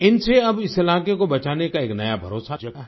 इनसे अब इस इलाके को बचाने का एक नया भरोसा जगा है